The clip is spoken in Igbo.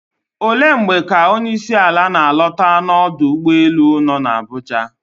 Olee mgbe ka onyeisiala na-alọta n'ọdọ ụgbọelu nọ n'Abuja?